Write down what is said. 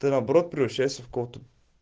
ты наоборот превращаешься в кого то